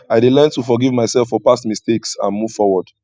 i dey learn to forgive myself for past mistakes and move forward